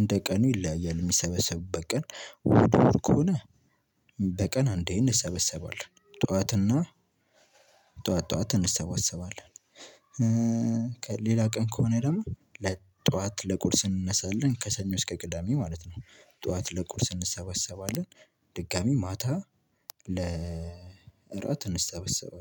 እንደ ቃኑ ይለያያል ሚሰበሰቡበት ቃን እሁድ እሁድ ከሆነ በቃን አንዴ እንሰበሰባለን ጥዋትና ጥዋት ጥዋት እንሰበሰባለን። ሌላ ቃን ከሆነ ደግሞ ለጥዋት ለቁርስ እንነሳለን ከሰኞ እስከ ቅዳሜ ማለት ነው ጥዋት ለቁርስ እንሰበሰባለን። ድጋሚ ማታ ለእራት እንሰበሰባለን